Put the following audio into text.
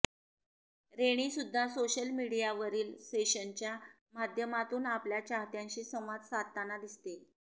rainy सुद्धा social मीडियावरील सेशनच्या माध्यमातून आपल्या चाहत्यांशी संवाद साधताना दिसते